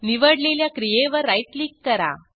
निवडलेल्या क्रियेवर right click करा